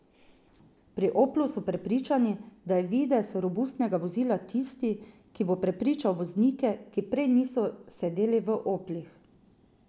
Pri Oplu so prepričani, da je videz robustnega vozila tisti, ki bo prepričal voznike, ki prej niso sedeli v oplih.